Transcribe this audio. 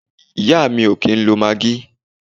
Ìyá mi o kìí ń lo maggi.